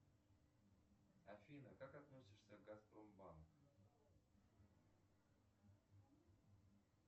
афина как относишься к газпромбанку